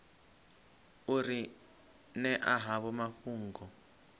u ri ṅea havho mafhungo